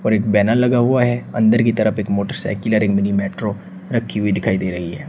एक बैनर लगा हुआ है अंदर की तरफ एक मोटरसाइकिल मिनी मेट्रो रखी हुई दिखाई दे रही है।